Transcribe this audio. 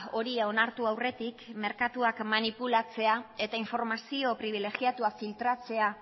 hori onartu aurretik merkatua manipulatzea eta informazio pribilegiatua filtratzea